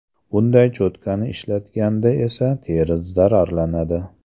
Bunday cho‘tkani ishlatganda esa teri zararlanadi.